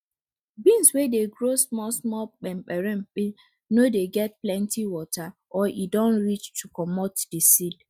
beans wey dey grow small small peperempe no dey get plenty water or e don reach to comot di seed